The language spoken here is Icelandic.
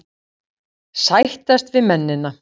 Sættast við mennina.